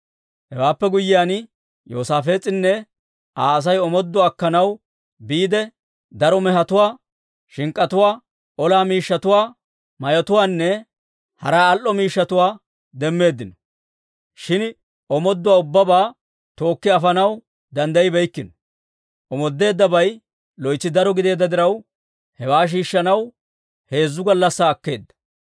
Hewaappe guyyiyaan, Yoosaafees'inne Aa Asay omooduwaa akkanaw biide, daro mehetuwaa, shink'k'atuwaa, ola miishshatuwaa, mayotuwaanne hara al"o miishshatuwaa demmeeddino. Shin omooduwaa ubbabaa tookki afanaw danddayibeykkino. Omoodeddabay loytsi daro gideedda diraw, hewaa shiishshanaw heezzu gallassaa akkeedda.